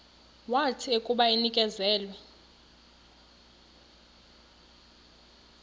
wathi akuba enikezelwe